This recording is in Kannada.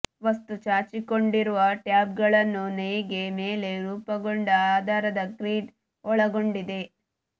ವಸ್ತು ಚಾಚಿಕೊಂಡಿರುವ ಟ್ಯಾಬ್ಗಳನ್ನು ನೇಯ್ಗೆ ಮೇಲೆ ರೂಪಗೊಂಡ ಆಧಾರದ ಗ್ರಿಡ್ ಒಳಗೊಂಡಿದೆ